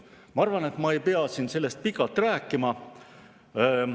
Ma arvan, et ma ei pea sellest pikalt rääkima.